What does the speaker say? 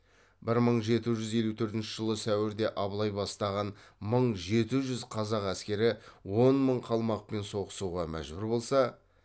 бір мың жеті жүз елу төртінші жылы сәуірде абылай бастаған мың жеті жүз қазақ әскері он мың қалмақпен соғысуға мәжбүр болса